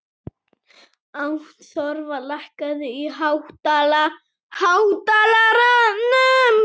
Ástþóra, lækkaðu í hátalaranum.